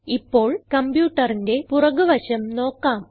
ഇപ്പോൾ കംപ്യൂട്ടറിന്റെ പുറക് വശം നോക്കാം